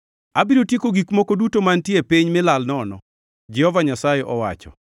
“Abiro tieko gik moko duto mantie e piny mi lal nono,” Jehova Nyasaye owacho.